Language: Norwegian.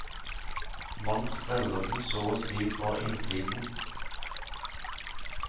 Man skreller den så å si fra innsiden.